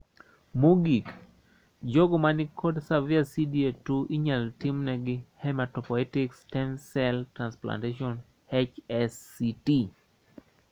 Mogik, jogo manikod severe CDA 2 inyalo timnegi hematopoietic stem cell transplantation (HSCT).